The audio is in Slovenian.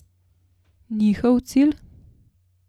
Njihov cilj?